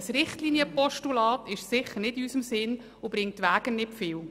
Ein Richtlinienpostulat ist sicher nicht in unserem Sinn, und es brächte nicht viel.